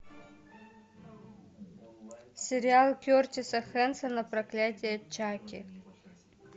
сериал кертиса хэнсона проклятие чаки